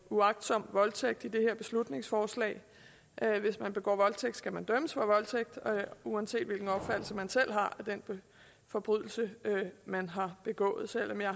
uagtsom voldtægt i det her beslutningsforslag hvis man begår voldtægt skal man dømmes for voldtægt uanset hvilken opfattelse man selv har af den forbrydelse man har begået selv om jeg